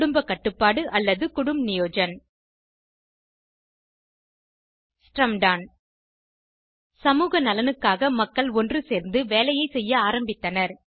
குடும்ப கட்டுப்பாடு அல்லது குடும்ப் நியோஜன் ஸ்ரம்டான் சமூக நலனுக்காக மக்கள் ஒன்றுசேர்ந்து வேலைசெய்ய ஆரம்பித்தனர்